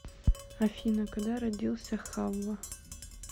афина когда родился хавва